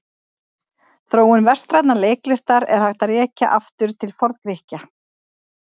Þróun vestrænnar leiklistar er hægt að rekja aftur til Forngrikkja.